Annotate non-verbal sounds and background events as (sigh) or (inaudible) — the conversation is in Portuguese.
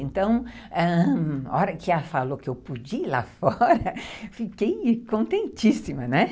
Então, ãh, na hora que ela falou que eu podia ir lá fora, (laughs) fiquei contentíssima, né?